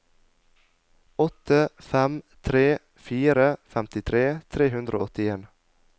åtte fem tre fire femtitre tre hundre og åttien